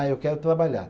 Ah, eu quero trabalhar.